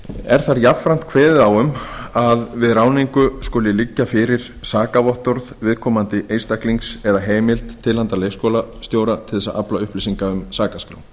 er þar jafnframt kveðið á um að við ráðningu skuli liggja fyrir sakavottorð viðkomandi einstaklings eða heimild til handa leikskólastjóra til að afla upplýsinga úr sakaskrá